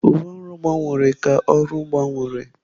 Uwe ọrụ gbanwere ka ọrụ gbanwere.